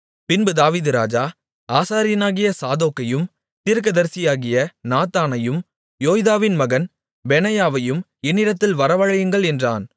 பின்பு தாவீது ராஜா ஆசாரியனாகிய சாதோக்கையும் தீர்க்கதரிசியாகிய நாத்தானையும் யோய்தாவின் மகன் பெனாயாவையும் என்னிடத்தில் வரவழையுங்கள் என்றான்